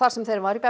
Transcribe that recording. sem þeim var